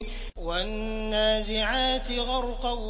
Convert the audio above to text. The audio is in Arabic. وَالنَّازِعَاتِ غَرْقًا